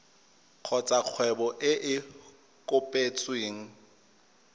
kgotsa kgwebo e e kopetsweng